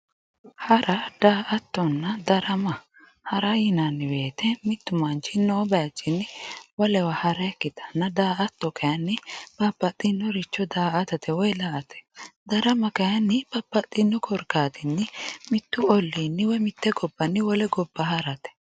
Hara ,daa"attonna ,darama ,hara yinanni woyyite mitu manchi noo bayichinni wolewa haranna, daa"atto kayinni babbaxxinoricho daa"attate woyi la"ate ,darama kayinni babbaxxino korkaatinni mitu ollinni mite gobbanni wole gobba harate.